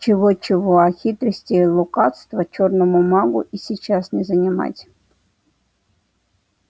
чего-чего а хитрости и лукавства чёрному магу и сейчас не занимать